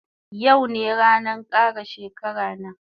Yau ne ranan kara shekara na